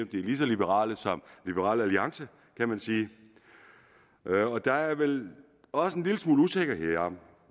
lige så liberalt som liberal alliance kan man sige der er vel også en lille smule usikkerhed om